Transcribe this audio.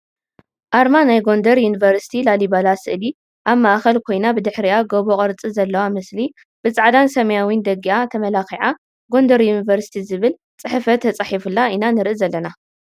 ኣርማ ናይ ጎንደ ዩኒበርሲቲ ላሊበላ ስእሊ ኣብ ማእክል ኮይና ብድሕሪኣ ጎቦ ቅርፂ ዘልዋ ምስሊ ብፃዕዳን ስማያዊን ደጊኣ ተምላኪዓ ጎንደር ዩኒቨርሲቲ ዝብል ፅሕፈት ትፃሒፉላ ኢና ንርኢ ዘለና ።